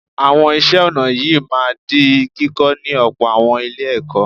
Àwọn iṣẹ́ ọnà yìí máa di kíkọ́ ní ọ̀pọ̀ àwọn Ilé-ẹ̀kọ́